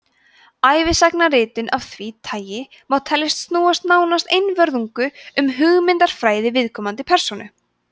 ævisagnaritun af því tagi má teljast snúast nánast einvörðungu um hugmyndafræði viðkomandi persónu